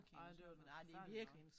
Ej det var da noget forfærdeligt noget